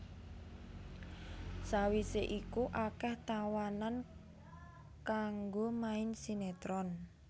Sawisé iku akéh tawanan kanggo main sinetron